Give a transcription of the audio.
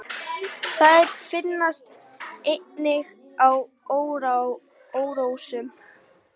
Þær finnast einnig í árósum.